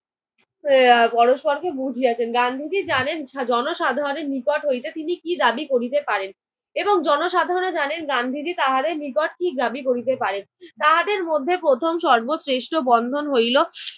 এর পরস্পরকে বুঝিয়াছেন। গান্ধীজি জানেন জনসাধারনের নিকট হইতে তিনি কী দাবি করিতে পারেন এবং জনসাধারনও জানেন গান্ধীজি তাহাদের নিকট কী দাবি করিতে পারেন। তাহাদের মধ্যে প্রথম সর্বশ্রেষ্ঠ বন্ধন হইল